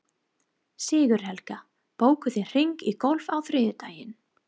Sigurhelga, bókaðu hring í golf á þriðjudaginn.